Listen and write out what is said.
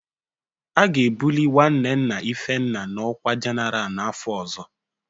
A ga-ebuli nwanne nna Ifenna n'ọkwa General n'afọ ọzọ